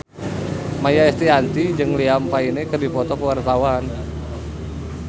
Maia Estianty jeung Liam Payne keur dipoto ku wartawan